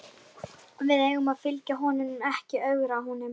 Við eigum að fylgja honum en ekki ögra honum.